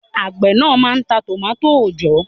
Àgbẹ̀ náà máà ń ta tòmátò òòjọ́